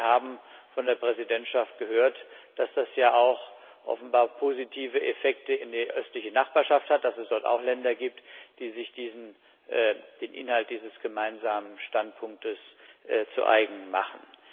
Wir haben von der Präsidentschaft gehört, dass das ja auch offenbar positive Effekte in der östlichen Nachbarschaft hat, dass es dort auch Länder gibt, die sich den Inhalt dieses gemeinsamen Standpunktes zu eigen machen.